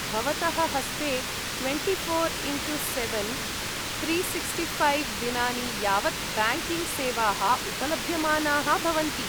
भवतः हस्ते twenty four into seven three sixty five दिनानि यावत् ब्याङ्किङ्ग्सेवाः उपलभ्यमानाः भवन्ति।